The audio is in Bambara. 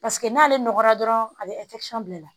Paseke n'ale nɔgɔra dɔrɔn a bɛ bila